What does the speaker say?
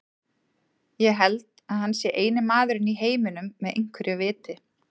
Ég held að hann sé eini maðurinn í heiminum með einhverju viti.